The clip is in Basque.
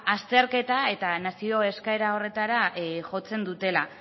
azterketa eta nazio eskaera horretara jotzen dutela